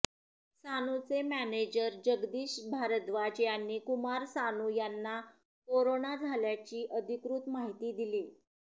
सानूचे manager Jagdish Bhardwaj यांनी कुमार सानू यांना corona झाल्याची अधिकृत माहिती दिली